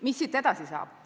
Mis siit edasi saab?